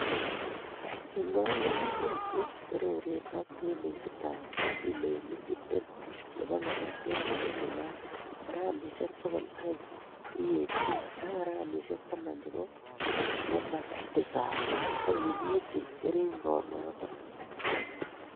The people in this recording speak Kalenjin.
ing'ol ng'ung'unyek che torooreen ak tambeesitap kiloinik tiptem no bo ng'atatiat ne nunat, gramisiek pogol aeng' DAP ak gramisyek taman che bo nematicide ak inyiitchi keringenotok